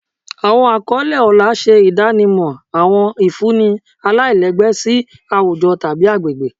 Àwọn àkọlé ọlá ṣe ìdánimọ̀ àwọn ìfúnni aláìlẹ́gbẹ́ sí àwùjọ tàbí agbègbè